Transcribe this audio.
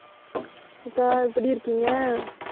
அக்கா, எப்படி இருக்கீங்க?